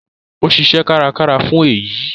Ó ṣiṣẹ́ kárakára fún èyí